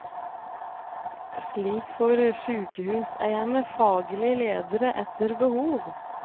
Slik får sykehuseierne faglige ledere etter behov.